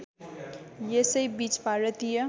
यसै बीच भारतीय